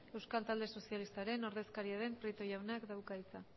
euskal talde sozialistaren ordezkaria den prieto jaunak dauka hitza